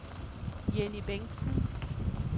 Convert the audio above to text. Jenny Bengtsen